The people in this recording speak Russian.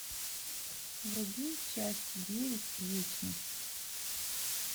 вруби часть девять вечность